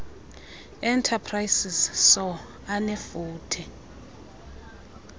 enterprises soe anefuthe